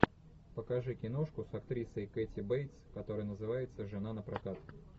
покажи киношку с актрисой кэти бейтс которая называется жена напрокат